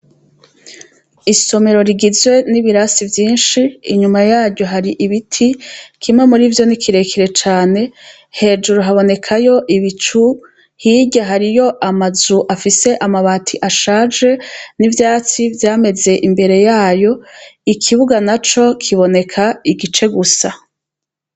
Isomero rigizwe n'ibirasi vyinshi, inyuma yaryo hari ibiti. Kimwe muri vyo ni kirejire cace. Hejuru habonekayo ibicu, hirya hariyo amazu afise amabati ashaje n'ivyatsivyameze imbere yayo. Ikibuga naco kiboneka igice gusa.